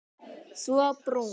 Svo brún.